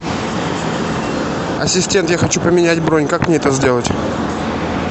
ассистент я хочу поменять бронь как мне это сделать